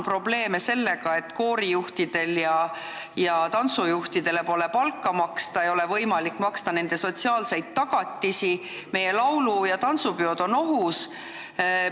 Probleeme on sellega, et koorijuhtidele ja tantsujuhtidele pole palka maksta, ei ole võimalik pakkuda neile sotsiaalseid tagatisi ning meie laulu- ja tantsupeod on ohus.